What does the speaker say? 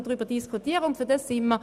Wir wären bereit dazu.